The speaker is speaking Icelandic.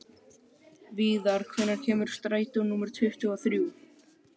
Viðar, hvenær kemur strætó númer tuttugu og þrjú?